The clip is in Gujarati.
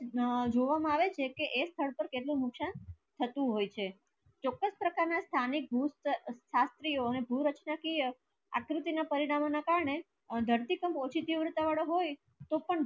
અને એના જોવા માં આવે છે કે ઍક સ્થળ પર કેટલું નુકસાન થતું હોય છે ના સ્થાનિક ભૂત શાસ્ત્રીઓ ને ભૂ રચના કી આકૃતિ ના પરિણામો ના કારણે ધરતી કામ ઓછી વૃતા વાળા હોય તો પણ